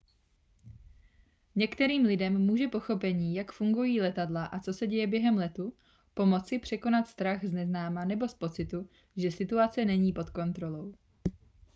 některým lidem může pochopení jak fungují letadla a co se děje během letu pomoci překonat strach z neznáma nebo z pocitu že situace není pod kontrolou